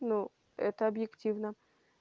ну это объективно